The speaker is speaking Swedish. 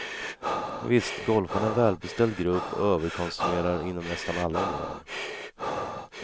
Visst, golfarna är en välbeställd grupp och överkonsumenerar inom nästan alla områden.